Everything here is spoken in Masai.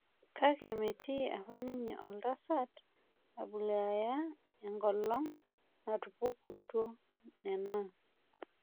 Kake metii apa ninye oltasat Abumayyaleh enkolong' natupukutuo nena.